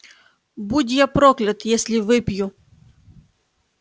будь я проклят если выпью